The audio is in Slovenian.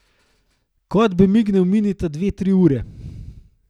Kot bi mignil, mineta dve, tri ure.